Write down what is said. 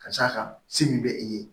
Ka d'a kan se min bɛ i ye